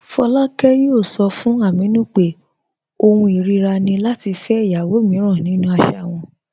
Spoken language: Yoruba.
Fọláàkẹ̀ yóò sọ̀ fún Ámínù pé ọ̀hùn irira ni lati fẹ́ ìyàwó míràn nínu àṣà rẹ̀.